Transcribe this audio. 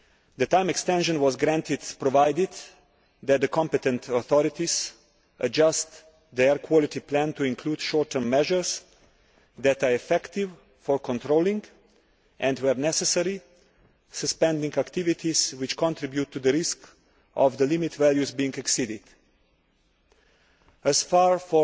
The time extension was granted, provided that the competent authorities adjust the air quality plan to include short term measures that are effective for controlling and, where necessary, suspending activities that contribute to the risk of the limit values being exceeded. As far as